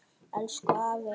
Elsku afi er farinn.